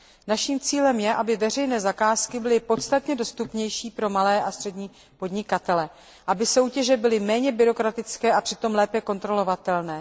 Naším cílem je, aby veřejné zakázky byly podstatně dostupnější pro malé a střední podnikatele, aby soutěže byly méně byrokratické a přitom lépe kontrolovatelné.